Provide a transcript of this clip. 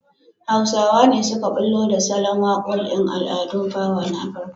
Hausawa ne suka ɓullo da salon waƙoƙn al'adun fawa na Afirka.